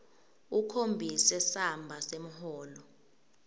ukhombise samba semholo